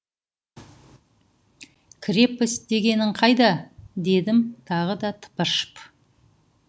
крепость дегенің қайда дедім тағы да тыпыршып